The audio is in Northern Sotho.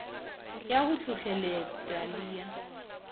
ya go hlohleletpa le ya